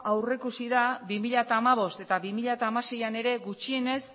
aurreikusi da bi mila hamabost eta bi mila hamaseian ere gutxienez